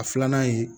A filanan ye